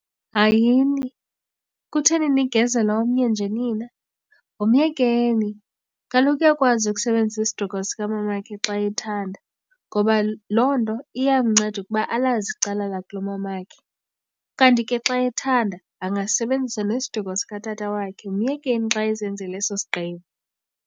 Hayini! Kutheni nigezela omnye nje nina? Myekeni, kaloku uyakwazi ukusebenzisa isiduko sikamamakhe xa ethanda ngoba loo nto iyamnceda ukuba alazi icala lakulomamakhe. Kanti ke xa ethanda angasebenzisa nesiduko sikatata wakhe, myekeni xa ezenzela eso sigqibo.